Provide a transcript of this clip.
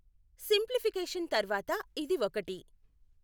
Simplification తర్వాత ఇది ఒకటి .